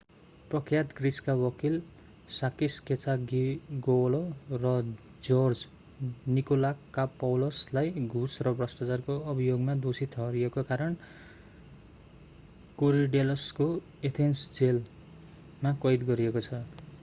प्रख्यात ग्रीसका वकिल साकिस् केचाजिओग्लौ sakis kechagioglou र जर्ज निकोलाकोपौलस george nikolakopoulosलाई घुस र भ्रष्टाचारको अभियोगमा दोषी ठहरिएका कारण कोरिडेल्लसको Athens jail athens' jail of korydallus मा कैद गरिएको छ।